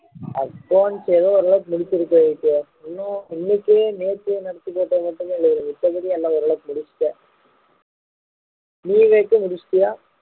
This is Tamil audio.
accounts ஏதோ ஒரு அளவுக்கு முடிச்சிருக்கேன் விவேக்கு இன்னும் இன்னைக்கு நேத்து நடத்தி போட்டது மட்டும் எழுதலை மத்தபடி எல்லாம் முடிச்சிட்டேன் நீ நேத்து முடிச்சிட்டியா